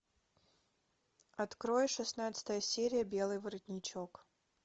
открой шестнадцатая серия белый воротничок